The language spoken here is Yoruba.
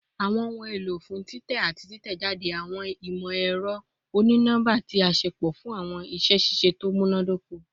Awọn ohun elo fun titẹ ati titẹjade awọn imọ-ẹrọ oni-nọmba ti a ṣepọ fun awọn iṣẹ ṣiṣe to munadoko